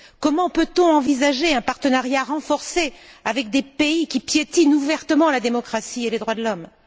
Comment peut on envisager un partenariat renforcé avec des pays qui piétinent ouvertement la démocratie et les droits de l'homme?